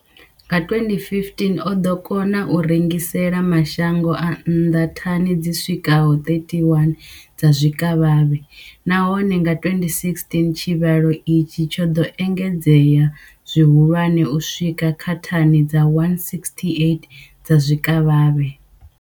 Nga 2015, o ḓo kona u rengisela mashango a nnḓa thani dzi swikaho 31 dza zwikavhavhe, nahone nga 2016 tshivhalo itshi tsho ḓo engedzea zwihulwane u swika kha thani dza 168 dza zwikavhavhe.